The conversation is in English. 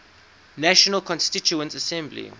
national constituent assembly